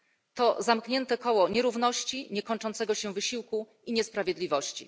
To zamknięte koło nierówności, niekończącego się wysiłku i niesprawiedliwości.